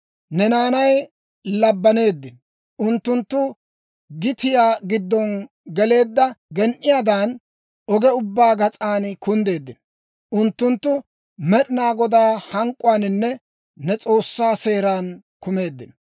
Ne naanay labbaneeddino; unttunttu gitiyaa giddon geleedda gen"iyaadan, oge ubbaa gas'an kunddeeddino. Unttunttu Med'inaa Godaa hank'k'uwaaninne ne S'oossaa seeran kumeeddino.